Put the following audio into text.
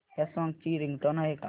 या सॉन्ग ची रिंगटोन आहे का